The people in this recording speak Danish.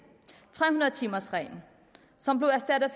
tre hundrede timers reglen som blev erstattet af